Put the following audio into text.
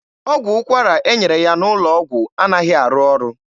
Ọgwụ ụkwara e nyere ya n'ụlọ ọgwụ anaghị arụ ọrụ.